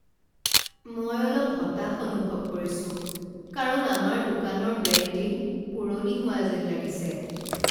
মই অলপ হতাশ অনুভৱ কৰিছো কাৰণ আমাৰ দোকানৰ ব্ৰেণ্ডিং পুৰণি হোৱা যেন লাগিছে।